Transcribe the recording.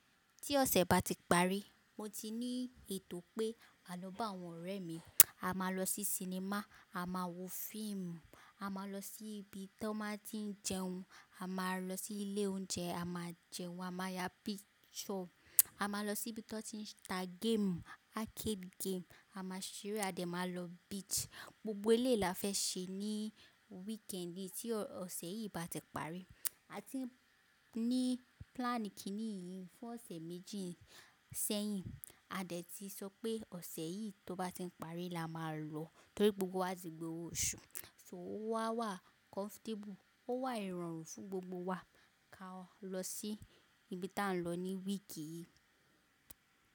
Tí ọ̀sẹ̀ bá ti parí, mo ti ní ètò pé, àná bá àwọn ọ̀rẹ́ mi, a máa lọ sí sinimá, a máa wo fíìmù, a máa lọ sí ibi tí wọ́n ti ń jẹun, a máa lọ sí ilé oúnjẹ, a máa jẹun, a máa ya picture, a máa lọ sí ibi tí wọ́n ti ń ta game, arcade game, a máa ṣeré a dẹ̀ máa lọ beach. Gbogbo eléyì lá fẹ́ ṣe ní weekend tí ọ̀sẹ̀ yìí bá ti parí. A ti ń ní plan kíní yìí fún ọ̀sẹ̀ méjì sẹ́yìn. A dẹ̀ ti sọ pé ọ̀sẹ̀ yìí tó bá ti ń parí la máa lọ torí gbogbo wa ti gba owó oṣù. So ó wá wà comfortable, ó wà ìrọ̀rùn fún gbogbo wa ká lọ sí ibi tí à ń lọ ní week yìí.